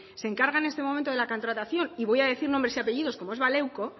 se encarga en este momento de la contratación y voy a decir nombre y apellidos como es baleuko